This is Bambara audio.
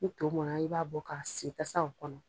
Ni to mɔnna, i b'a bɔ, k'a sigi tasaw kɔnɔ